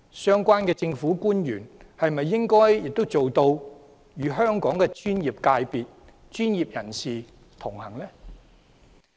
相關的政府官員是否也應該做到與香港的專業界別和專業人士同行？